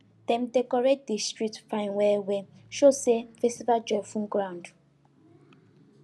dem decorate di street fine well well show say festival joy full ground